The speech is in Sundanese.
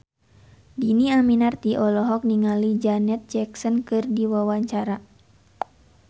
Dhini Aminarti olohok ningali Janet Jackson keur diwawancara